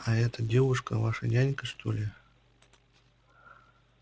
а эта девушка ваша нянька что ли